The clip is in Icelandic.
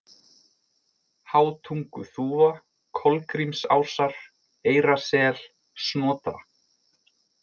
Hátunguþúfa, Kolgrímsásar, Eyrasel, Snotra